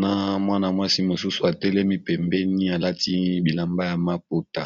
na Mwana mwasi mususu atelemi pembeni alati bilamba ya maputa.